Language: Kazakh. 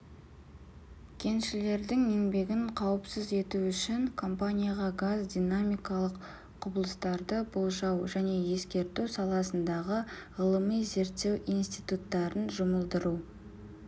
кеншілердің еңбегін қауіпсіз ету үшін компанияға газ динамикалық құбылыстарды болжау және ескерту саласындағы ғылыми-зерттеу институттарын жұмылдыру